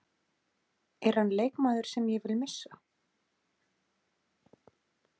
Er hann leikmaður sem ég vil missa?